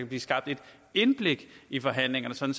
blive skabt et indblik i forhandlingerne sådan